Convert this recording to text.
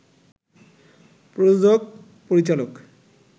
প্রযোজক, পরিচালক